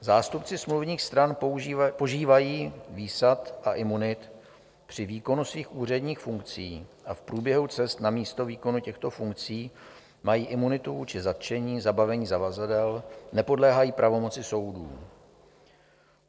Zástupci smluvních stran požívají výsad a imunit při výkonu svých úředních funkcí a v průběhu cest na místo výkonu těchto funkcí mají imunitu vůči zatčení, zabavení zavazadel, nepodléhají pravomoci soudů.